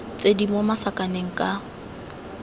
tse di mo masakaneng ka